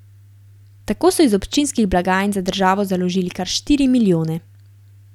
Tako so iz občinskih blagajn za državo založili kar štiri milijone.